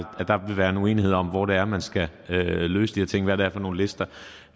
at der vil være en uenighed om hvor det er man skal løse de her ting hvad det er for nogle lister